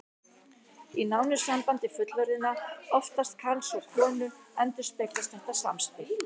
Í nánu sambandi fullorðinna, oftast karls og konu, endurspeglast þetta samspil.